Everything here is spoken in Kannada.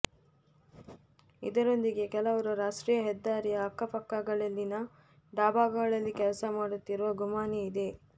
ಇದರೊಂದಿಗೆ ಕೆಲವರು ರಾಷ್ಟ್ರೀಯ ಹೆದ್ದಾರಿಯ ಅಕ್ಕಪಕ್ಕಗಳಲ್ಲಿನ ಡಾಬಾಗಳಲ್ಲಿ ಕೆಲಸ ಮಾಡುತ್ತಿರುವ ಗುಮಾನಿಯಿದೆ